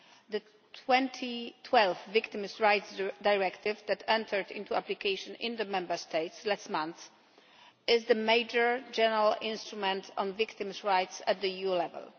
The 2012 Victims' Rights Directive that entered into application in the Member States last month is the major general instrument on victims' rights at EU level.